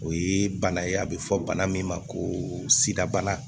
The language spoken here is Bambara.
O ye bana ye a bɛ fɔ bana min ma ko sidabana